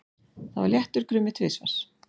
Það var léttur krummi tvisvar.